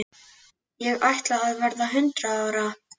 Ég ætla að verða hundrað ára.